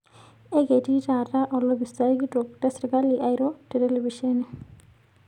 Eketii taata olopisaai kitok le serkali airo te telepisheni.